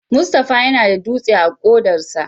Mustapha yana da dutse a kodarsa.